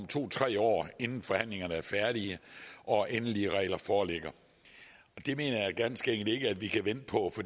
to tre år inden forhandlingerne er færdige og endelige regler foreligger det mener jeg ganske enkelt ikke at vi kan vente på